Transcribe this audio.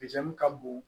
ka bon